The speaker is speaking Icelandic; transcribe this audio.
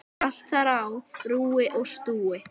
Allt þar á rúi og stúi.